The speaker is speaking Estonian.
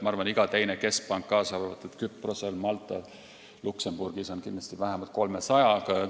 Ma arvan, et iga teine keskpank, kaasa arvatud Küprosel, Maltal ja Luksemburgis, on kindlasti vähemalt 300-ga.